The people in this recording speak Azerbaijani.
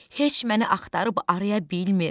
Heç məni axtarıb araya bilmir.